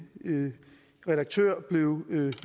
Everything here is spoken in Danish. en redaktør blev